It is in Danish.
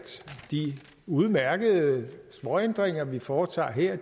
de udmærkede småændringer vi foretager her